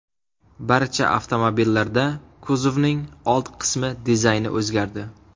Barcha avtomobillarda kuzovning old qismi dizayni o‘zgardi.